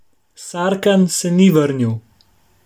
Sarkan se ni vrnil.